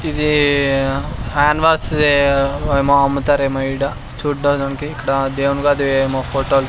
ఇది hand wash ది వేమో అమ్ముతారేమో ఈడ చూడ్డానికి ఇక్కడ దేవుని గది ఏమో ఫోటోలు --